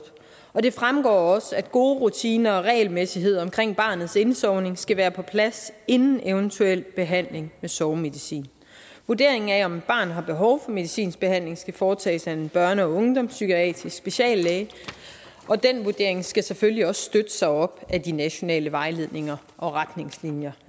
og det fremgår også at gode rutiner og regelmæssighed omkring barnets indsovning skal være på plads inden eventuel behandling med sovemedicin vurderingen af om et barn har behov for medicinsk behandling skal foretages af en børne og ungdomspsykiatrisk speciallæge og den vurdering skal selvfølgelig også støtte sig op ad de nationale vejledninger og retningslinjer